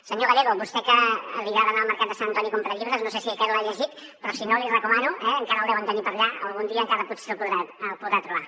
senyor gallego a vostè que li agrada anar al mercat de sant antoni a comprar llibres no sé aquest l’ha llegit però si no l’hi recomano eh encara el deuen tenir per allà algun dia encara potser el podrà trobar